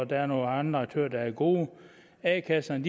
der er nogle andre aktører der er gode a kasserne